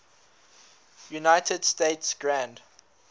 united states grand